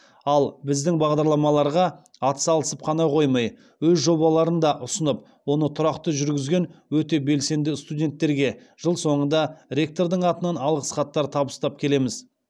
ал біздің бағдарламаларға атсалысып қана қоймай өз жобаларын да ұсынып оны тұрақты жүргізген өте белсенді студенттерге жыл соңында ректордың атынан алғыс хаттар табыстап келеміз